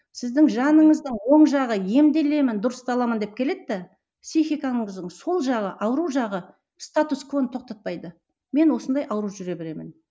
сіздің жаныңыздың оң жағы емделемін дұрысталамын деп келеді де психиканыңыздың сол жағы ауру жағы статус тоқтатпайды мен осындай ауырып жүре беремін